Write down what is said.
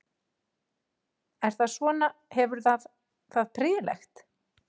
Er það svona, hefur það það prýðilegt?